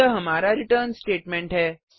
यह हमारा return statement है